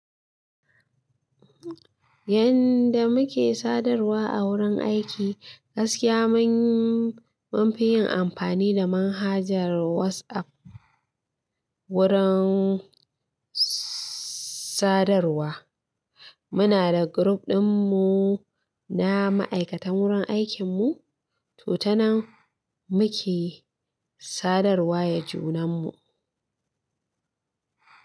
Yanda muke sadarwa a wurin aiki gaskiya mun, munfi yin amfani da manhajar WhatsApp wurin sadarwa. Muna da group ɗin mu na ma'aikatan wurin aikin mu, to tanan muke sadarwa ya junan mu.